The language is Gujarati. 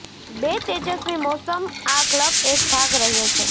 બે તેજસ્વી મોસમ આ ક્લબ એક ભાગ રહ્યો છે